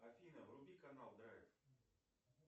афина вруби канал драйв